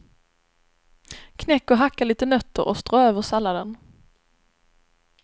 Knäck och hacka lite nötter och strö över salladen.